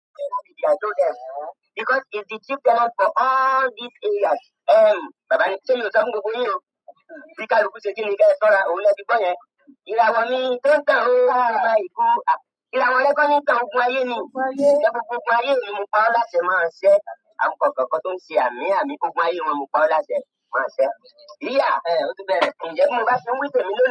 Because it's the chief dialect for all these areas. Ehm, bàbá ní, ṣé mi ò sọ fún gbogbo yín o. Bí kálukú ṣe jí ni kí ẹ sọ́ra, òun ni ẹ ti gbọ́ yẹn. Ìràwọ̀ mi tó ń tàn o a gba ìko, à, ìràwọ̀ rẹ kọ́ ní ń tàn, ogun ayé ni. Ǹ jẹ́ gbogbo ogun ayé è mi mo pá á ó láti máa ṣẹ́? Àwọn kànkànkan tó ń ṣe àmín àmín, ogun ayé e wọn mo pa ọ́ làṣẹ máa ṣẹ́. Díyà, ǹ jẹ́ bí mo bá ti ń wí t'èmi lónìí.